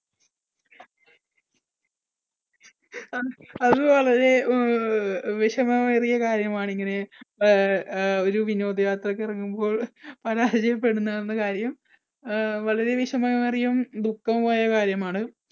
അത് വളരെ വിഷമമേറിയ കാര്യമാണ് ഇങ്ങനെ അഹ് ഒരു വിനോദയാത്രയ്ക്ക് ഇറങ്ങുമ്പോൾ പരാജയപ്പെടുന്നു എന്നുള്ള കാര്യം. അഹ് വളരെ വിഷമം എറിയതും ദുഃഖവുമായ കാര്യമാണ്